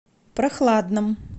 прохладном